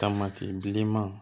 Tamati bilenman